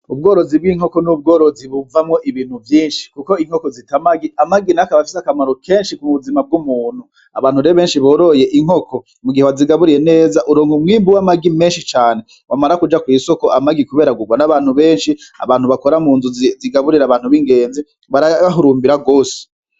Ubworozi bw'inkoko ni ubworozi buvamwo ibintu vyinshi kuko inkoko zita amagi, amagi nayo akaba afise akamaro kenshi ku buzima bw'umuntu. Abantu rero benshi boroye inkoko ntibazigaburira neza, uronka umwimbu w'amagi menshi cane, wamara kuja kw'isoko kubera amagi agurwa n'abantu benshi, abantu bakora mu nzu zigaburira abantu b'ingenzi barayahurumbira gose.